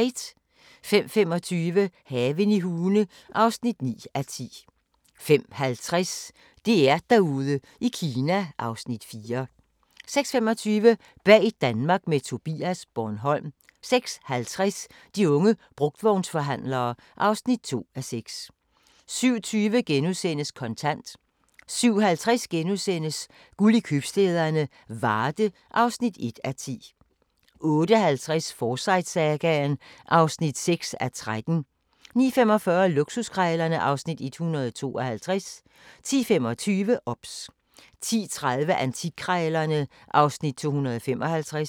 05:25: Haven i Hune (9:10) 05:50: DR-Derude i Kina (Afs. 4) 06:25: Bag Danmark med Tobias - Bornholm 06:50: De unge brugtvognsforhandlere (2:6) 07:20: Kontant * 07:50: Guld i købstæderne - Varde (1:10)* 08:50: Forsyte-sagaen (6:13) 09:45: Luksuskrejlerne (Afs. 152) 10:25: OBS 10:30: Antikkrejlerne (Afs. 255)